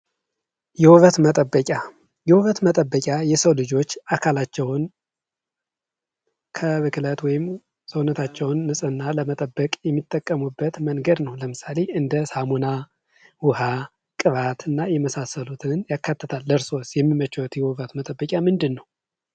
የውበት መጠበቂያ የውበት መጠበቂያ የሰው ልጆች አካላቸውን ከብክለት ሰውነታቸውን ንህና ለመጠበቅ የሚጠቀሙበት መንገድ ነው። ለምሳሌ እንደ ሳሙና ውሃ ቅባት እና የመሳሰሉትን ያካተተ። እርሶስ የሚመቾ የውበት መጠበቂያ ምንድን ነው።